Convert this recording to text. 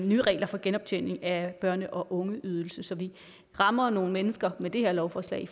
nye regler for genoptjening af børne og ungeydelse så vi rammer nogle mennesker med det her lovforslag i